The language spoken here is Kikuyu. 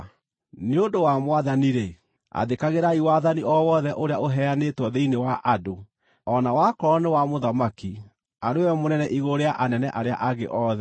Nĩ ũndũ wa Mwathani-rĩ, athĩkagĩrai wathani o wothe ũrĩa ũheanĩtwo thĩinĩ wa andũ: o na wakorwo nĩ wa mũthamaki, arĩ we mũnene igũrũ rĩa anene arĩa angĩ othe,